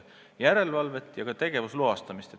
See vajaks järelevalvet ja ka tegevusloastamist.